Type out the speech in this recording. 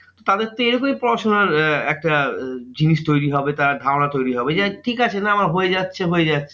তাদের তো এইভাবেই পড়াশোনা এর একটা জিনিস তৈরী হবে তার ধারণা তৈরী হবে। ওই যে ঠিক আছে না আমার হয়ে যাচ্ছে হয়ে যাচ্ছে।